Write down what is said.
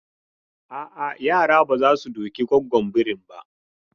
A'a, yara ba za su duki gwaggon birin ba.